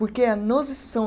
Porque